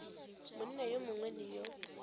monna yo mongwe le yo